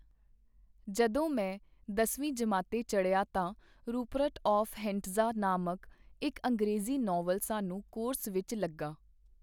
ਜਦੋਂ ਮੈਂ ਦਸਵੀਂ ਜਮਾਤੇ ਚੱੜ੍ਹਿਆ ਤਾਂ ਰੂਪਰਟ ਆਫ਼ ਹੈਂਟਜ਼ਾਂ ਨਾਮਕ ਇਕ ਅੰਗਰੇਜ਼ੀ ਨਾਵਲ ਸਾਨੂੰ ਕੋਰਸ ਵਿੱਚ ਲੱਗਾ.